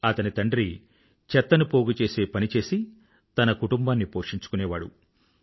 అతని తండ్రి చెత్తను పోగుచేసే పని చేసి తన కుటుంబాన్ని పోషించుకునేవాడు